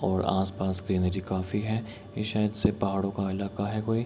और आसपास ग्रीनरी काफी है ये शायद से पहाड़ों का अलाका है कोई --